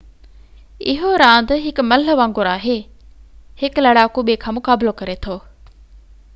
اهو راند هڪ ملهہ وانگر آهي هڪ لڙاڪو ٻي کان مقابلو ڪري ٿو